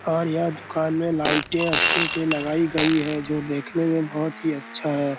और यह दुकान में लाईटे अच्छी सी लगाई गई है जो देखने में बहुत ही अच्छा है।